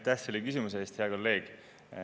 Aitäh selle küsimuse eest, hea kolleeg!